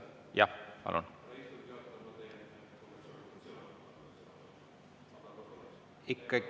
Jah, palun!